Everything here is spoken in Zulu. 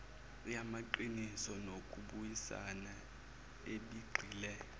yamaqiniso nokubuyisana ebigxile